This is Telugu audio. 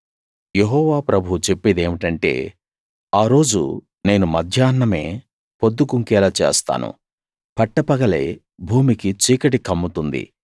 యెహోవా ప్రభువు చెప్పేదేమిటంటే ఆ రోజు నేను మధ్యాహ్నమే పొద్దు గుంకేలా చేస్తాను పట్టపగలే భూమికి చీకటి కమ్ముతుంది